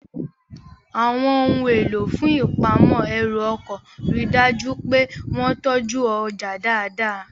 Àwọn ohun èlò fún ìpamọ́ ẹrù ọkọ̀ rí dájú pé wọ́n tọ́jú ọjà dáadáa